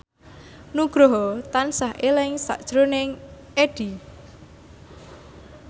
Nugroho tansah eling sakjroning Addie